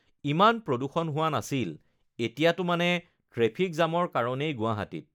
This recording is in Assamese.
ইমান প্ৰদূষণ হোৱা নাছিল, এতিয়াটো মানে ট্ৰেফিক জামৰ কাৰণেই গুৱাহাটীত